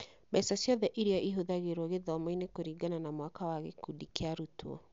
Mbeca ciothe iria ihũthagĩrũo gĩthomo-inĩ kũringana na mwaka na gĩkundi kĩa arutwo.